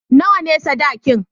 Nawa ne sadakin?